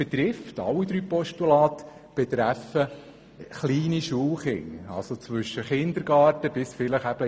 Alle drei Postulate betreffen kleine Schulkinder zwischen Kindergarten und etwa 6. Klasse.